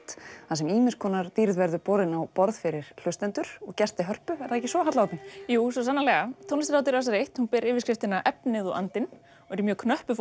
þar sem ýmiss konar dýrð verður borin á borð fyrir hlustendur og gesti Hörpu er það ekki svo Halla Oddný jú svo sannarlega tónlistarhátíð Rásar eins ber yfirskriftina efnið og andinn og er í mjög knöppu